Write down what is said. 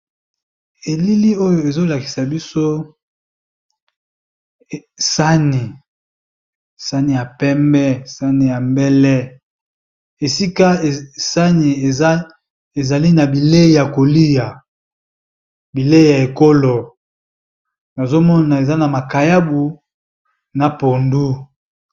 Eliili oyo ezol akisa biso sani, sani ya pembe sani ya mbele, esika sani ezali na bilei ya kolia , bilei ya ekolo nazo mona eza na makayabu na pondu .